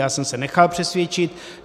Já jsem se nechal přesvědčit.